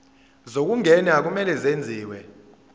zokungena kumele kwenziwe